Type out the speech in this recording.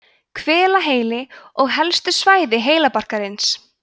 hvelaheili og helstu svæði heilabarkarins